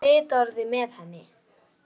Var einhver í vitorði með henni?